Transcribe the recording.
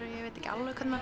ég veit ekki alveg hvernig